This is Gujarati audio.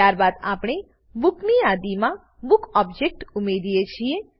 ત્યારબાદ આપણે બુક ની યાદીમાં બુક ઓબજેક્ટ ઉમેરીએ છીએ